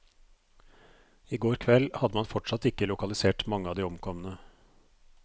I går kveld hadde man fortsatt ikke lokalisert mange av de omkomne.